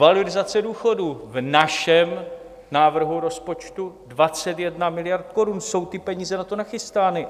Valorizace důchodů: v našem návrhu rozpočtu 21 miliard korun, jsou ty peníze na to nachystány.